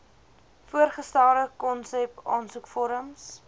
voorgestelde konsep aansoekvorms